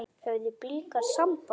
Höfðu Blikar samband?